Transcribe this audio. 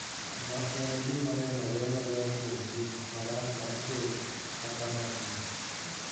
ma en gima nenore maler kuom tim marach mar Ker kaka ng’atni.